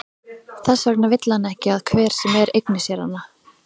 Þess vegna vill hann ekki að hver sem er eigni sér hana.